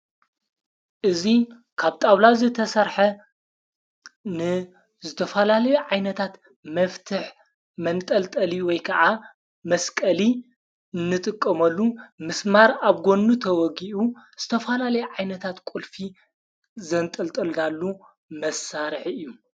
እዙይ ካብ ጣውላ ዝተሠርሐ ንዝተፈላለዩ ዓይነታት መፍትሕ መንጠልጠል ወይ ከዓ መስቀሊ እንጥቆመሉ ምስማር ኣብ ጐኑ ተወጊኡ ዝተፈላለይ ዓይነታት ቊልፊ ዘንጠልጠልዳሉ መሣርሕ እዩ።